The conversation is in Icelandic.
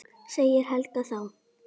sagði Helga þá.